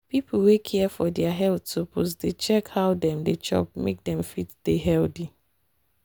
people wey care for health suppose dey check how dem dey chop make dem fit dey healthy.